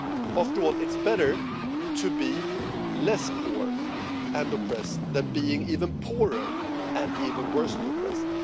After all, it's better to be less poor and oppressed than being even poorer and more oppressed.